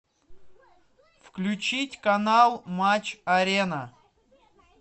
включить канал матч арена